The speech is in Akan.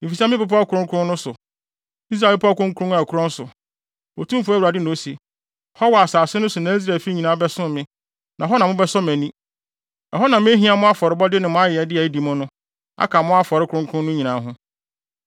Efisɛ me bepɔw kronkron no so, Israel bepɔw a ɛkorɔn no so, Otumfo Awurade na ose, hɔ wɔ asase no so na Israelfi nyinaa bɛsom me, na hɔ na mobɛsɔ mʼani. Ɛhɔ na mehia mo afɔrebɔde ne mo ayɛyɛde a edi mu no, aka mo afɔre kronkron no nyinaa ho.